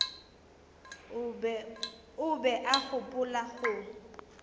o be a gopola go